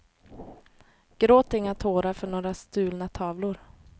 Gråt inga tårar för några stulna tavlor.